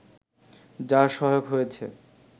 যা সহায়ক হয়েছে